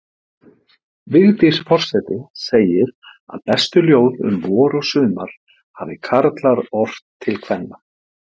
Vigdís forseti segir að bestu ljóð um vor og sumar hafi karlar ort til kvenna.